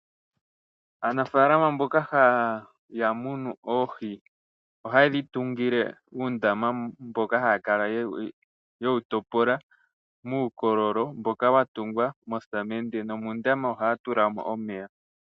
Aanafaalama mboka haya munu oohi ohaye dhi tungile uundama mboka haya kala yewu topola muukololo mboka watungwa mosamende , nomondama ohaya tulamo omeya.